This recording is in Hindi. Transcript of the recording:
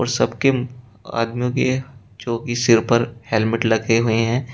सबके आदमियों के जोकि सिर पर हेलमेट लगे हुए हैं।